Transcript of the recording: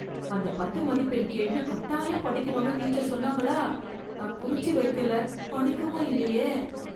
அந்த பத்து மதிப்பெண் கேள்வி கட்டாயம் படிக்கணும்னு டீச்சர் சொன்னாங்களா? நான் குறிச்சு வைக்கல, படிக்கவும் இல்லையே.